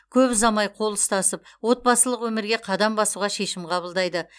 көп ұзамай қол ұстасып отбасылық өмірге қадам басуға шешім қабылдайды